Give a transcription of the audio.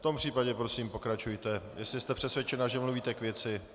V tom případě prosím pokračujte, jestli jste přesvědčena, že mluvíte k věci.